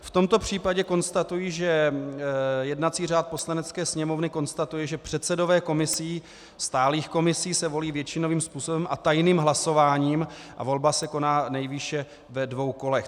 V tomto případě konstatuji, že jednací řád Poslanecké sněmovny konstatuje, že předsedové komisí, stálých komisí, se volí většinovým způsobem a tajným hlasováním a volba se koná nejvýše ve dvou kolech.